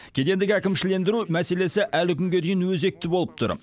кедендік әкімшілендіру мәселесі әлі күнге дейін өзекті болып тұр